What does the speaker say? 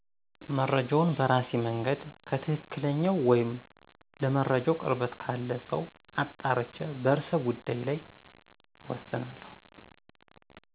መረጃውን በራሴ መንገድ ከትክክለኝው ወይም ለመረጃው ቅርበት ካለ ሰው አጣርቼ በርዕሰ ጉዳይ ላይ እወስናለሁ።